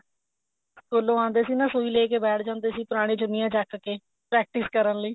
ਸਕੂਲੋ ਆਉਂਦੇ ਸੀਗੇ ਨਾ ਸੁਈ ਲੇਕੇ ਬੈਠ ਜਾਂਦੇ ਸੀ ਪੁਰਾਣਿਆ ਚੁੰਨੀਆ ਚੱਕ ਕੇ practice ਕਰਨ ਲਈ